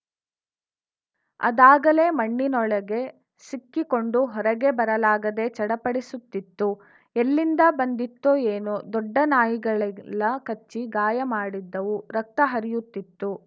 ಅದಾಗಲೇ ಮಣ್ಣಿನೊಳಗೆ ಸಿಕ್ಕಿಕೊಂಡು ಹೊರಗೆ ಬರಲಾಗದೇ ಚಡಪಡಿಸುತ್ತಿತ್ತು ಎಲ್ಲಿಂದ ಬಂದಿತ್ತೋ ಏನೋ ದೊಡ್ಡ ನಾಯಿಗಳಿಗೆಲ್ಲಾ ಕಚ್ಚಿ ಗಾಯ ಮಾಡಿದ್ದವು ರಕ್ತ ಹರಿಯುತ್ತಿತ್ತು